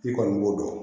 I kɔni b'o dɔn